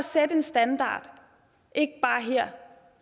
sætte en standard ikke bare her